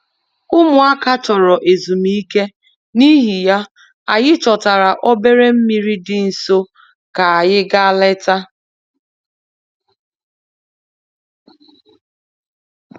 Ụmụaka chọrọ ezumike, n'ihi ya, anyị chọtara obere mmiri dị nso ka anyị gaa leta